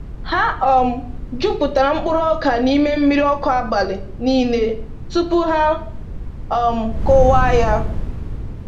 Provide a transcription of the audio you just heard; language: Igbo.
Ha um jupụtara mkpụrụ oka n’ime mmiri ọkụ abalị niile tupu ha um kụwaa ya.